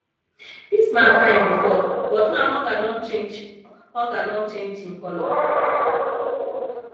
dis man fine before but now hunger don change hunger don change in colour